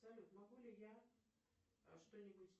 салют могу ли я что нибудь